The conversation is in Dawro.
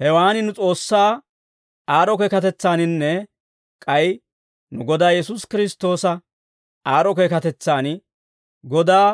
Hewaan nu S'oossaa aad'd'o keekatetsaaninne k'ay nu Godaa Yesuusi Kiristtoosa aad'd'o keekatetsan, Godaa